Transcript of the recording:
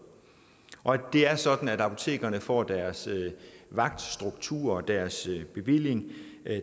det er sådan at apotekerne får deres vagtstruktur deres bevilling